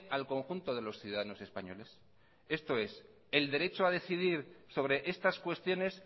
al conjunto de los ciudadanos españoles el derecho a decidir sobre estas cuestiones